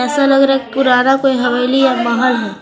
ऐसा लग रहा है कि पुराना कोई हवेली है बाहर--